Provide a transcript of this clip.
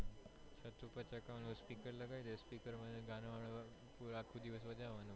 speaker લાગે દઈશ speaker માં ગાના વન પુરા આખો દિવસ વાજવાનું